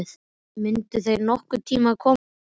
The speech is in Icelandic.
Mundu þeir nokkurn tíma komast að því?